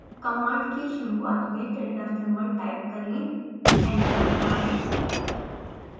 command की शुरुआत में tilda symbol टाइप करें एंटर दबाएँ